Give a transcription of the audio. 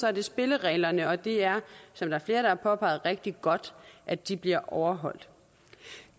er det spillereglerne og det er som flere har påpeget rigtig godt at de bliver overholdt